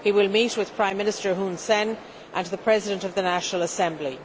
He will meet with Prime Minister Hun Sen and the President of the National Assembly.